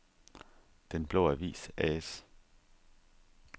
Den Blå Avis A/S